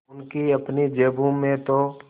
उनकी अपनी जेबों में तो